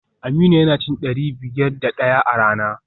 Aminu yana cin dari biyar da daya a rana